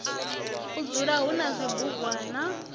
u dzula hu na zwibugwana